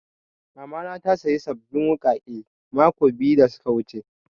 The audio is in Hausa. Mama na ta saya sabbin wuƙaƙe mako biyu da suka wuce